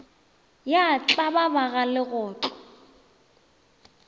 ya tlaba ba ga legotlo